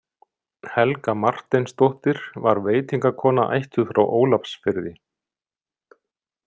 Helga Marteinsdóttir var veitingakona ættuð frá Ólafsfirði.